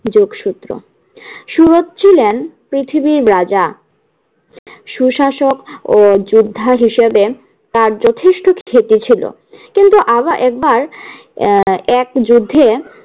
যোগ সূত্র। সুরত ছিলেন পৃথিবীর রাজা সুশাসক ও যোদ্ধা হিসাবে তার যথেষ্ট খ্যাতি ছিল। কিন্তু আবার একবার আহ এক যুদ্ধে